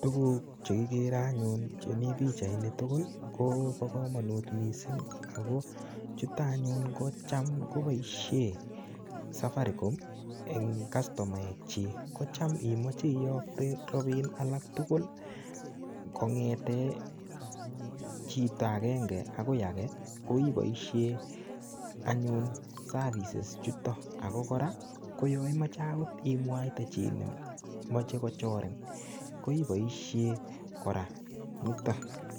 Tuguk che kigere anyun chemi pichaini tugul kobo kamanut mising ago chuto anyun kocham koboisie safaricom eng kastomaekyik. Kocham imoche iyokte ropiin alak tugul kongete v chito agenge agoi age koiboisie anyun services ichuto ago kora ko yo imoche agot imwaite chi nemoche kochorin, koiboisie kora nitok.